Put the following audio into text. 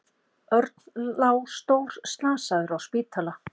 Örn lá stórslasaður á spítala.